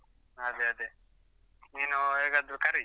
ಅದೆ ಅದೆ, ನೀನು ಹೇಗಾದ್ರು ಕರಿ.